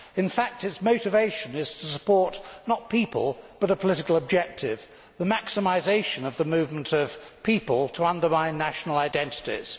In fact its motivation is to support not people but a political objective the maximisation of the movement of people to undermine national identities.